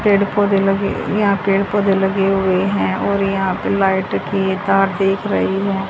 पेड़ पौधे लगे या पेड़ पौधे लगे हुए हैं और यहां पे लाइट कि ये तार दिख रही है।